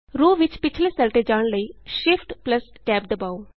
row ਵਿਚ ਪਿੱਛਲੇ cell ਤੇ ਜਾਣ ਲਈ Shift Tab ਦਬਾਉ